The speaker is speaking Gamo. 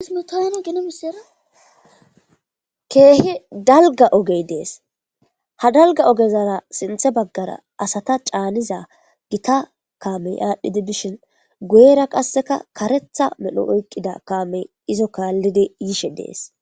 Keehi dalga ogey dees ha dalga ogezara sinthe baggara asata caaniza gita kaamey aadhdhidi bishin guyera qasseka karetha medho oyqqida kaamey izo kaallidi yishe dees.